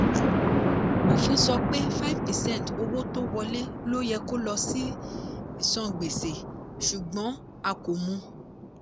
òfin sọ pé five percent owó tó wọlé lo yẹ kó lọ sí ìsan gbèsè ṣùgbọ́n a kò mú.